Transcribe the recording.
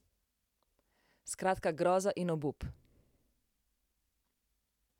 Skratka groza in obup!